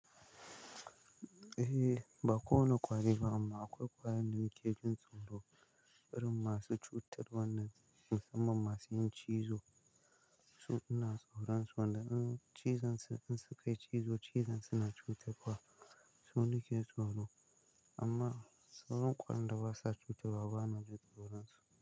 Eh ba kowane kwari ba amma akwai kwarin da muke jin tsoro irin masu cutar wannan musamman masu yin cizo. Su ina tsoron su, idan sun kai cizo cizon su na cutarwa. Su muke tsoro amma sau roƙon da ba sa cutarwa ba na jin tsoron su.